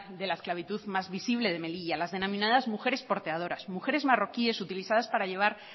de la esclavitud más visible de melilla las denominadas mujeres porteadoras mujeres marroquíes utilizadas para llevar